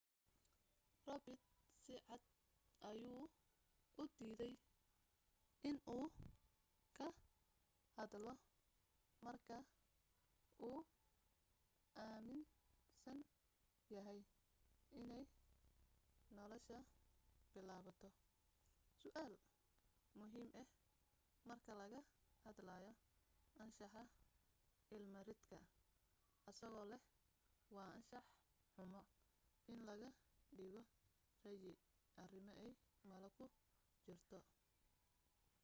robert sicad ayuu u diiday in uu ka hadlo marka uu aminsan yahay inay nolasha bilaabato su'aal muhiim ah marka laga hadlayo anshaxa ilma ridka asagoo leh waa anshax xumo in laga dhiibo ra'yi arimo ay malo ku jirto